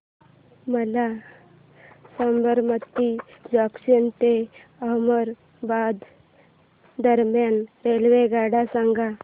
मला साबरमती जंक्शन ते अहमदाबाद दरम्यान रेल्वेगाड्या सांगा